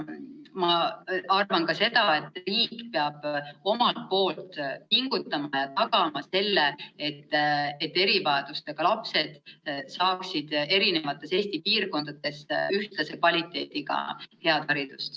Ma arvan, et riik peab omalt poolt pingutama ja tagama selle, et erivajadustega lapsed saaksid Eesti eri piirkondades ühtlase kvaliteediga head haridust.